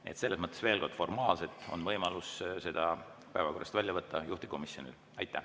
Nii et selles mõttes veel kord: formaalselt on võimalus seda päevakorrast välja võtta juhtivkomisjonil.